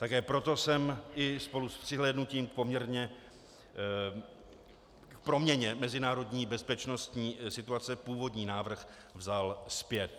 Také proto jsem i spolu s přihlédnutím k proměně mezinárodní bezpečnostní situace původní návrh vzal zpět.